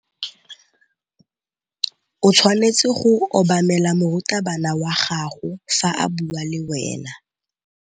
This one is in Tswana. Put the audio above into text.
O tshwanetse go obamela morutabana wa gago fa a bua le wena.